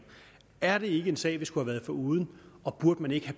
er det ikke en sag vi skulle have været foruden og burde man ikke i